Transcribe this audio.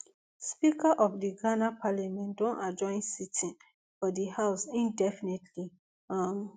speaker of di ghana parliament don adjourn sitting for di house indefinitely um